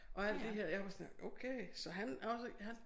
Og alt det her og jeg var sådan her okay så han også han